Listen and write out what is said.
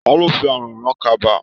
Ta ló fi àrán rán kaba?